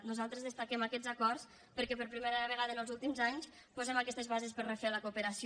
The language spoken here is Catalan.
nosaltres destaquem aquests acords perquè per primera vegada en els últims anys posem aquestes bases per refer la cooperació